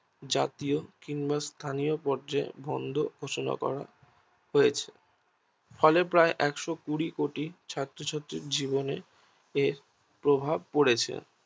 জাতীয় কিংবা স্থানীয় পর্যায় বন্ধ ঘোষণা করা হয়েছে ফলে প্রায় একশো কুড়ি কোটি ছাত্রছাত্রীর জীবনে এর প্রভাব পড়েছে